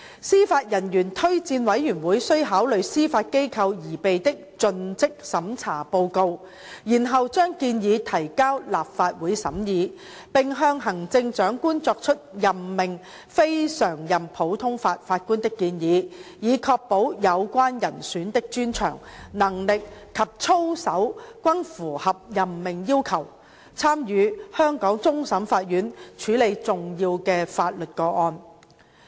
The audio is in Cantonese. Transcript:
司法人員推薦委員會須考慮司法機構擬備的盡職審查報告，然後將建議提交立法會審議，並向行政長官作出任命非常任普通法法官的建議，以確保有關人選的專長、能力及操守均符合任命要求，參與香港終審法院處理重要的法律個案。